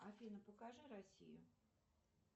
афина покажи россию